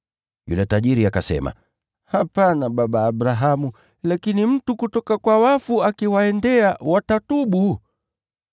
“Yule tajiri akasema, ‘Hapana, baba Abrahamu, lakini mtu kutoka kwa wafu akiwaendea, watatubu.’